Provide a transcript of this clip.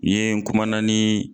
I ye n kumana nii